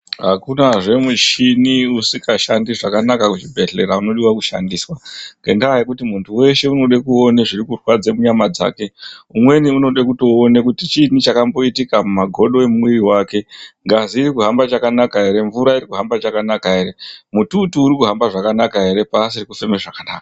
Akunazve mushini usikashandi zvakanaka kuzvibhedhlera unodiwe kushandiswa, ngendaa yekuti muntu weshe unode kuone zviri kurwadze munyama dzake. Umweni unode kutoone kuti chiini chakamboitika mumagodo emumwiri mwake, ngazi iri kuhamba chakanaka ere, mvura iri kuhamba chakanaka ere, mututu uri kuhamba zvakanaka ere paasiri kufeme zvakanaka.